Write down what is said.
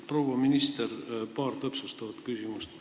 Proua minister, paar täpsustavat küsimust.